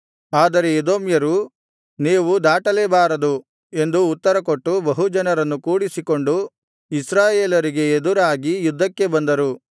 ಆದರೆ ಎದೋಮ್ಯರು ನೀವು ದಾಟಲೇ ಬಾರದು ಎಂದು ಉತ್ತರಕೊಟ್ಟು ಬಹುಜನರನ್ನು ಕೂಡಿಸಿಕೊಂಡು ಇಸ್ರಾಯೇಲರಿಗೆ ಎದುರಾಗಿ ಯುದ್ಧಕ್ಕೆ ಬಂದರು